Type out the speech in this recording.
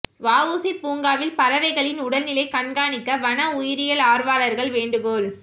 வஉசி பூங்காவில் பறவைகளின் உடல்நிலை கண்காணிக்க வன உயிரியல் ஆர்வலர்கள் வேண்டுகோள்